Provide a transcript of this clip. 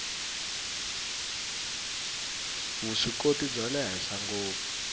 vuswikoti bya le henhla ngopfu